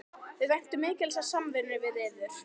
Við væntum mikils af samvinnunni við yður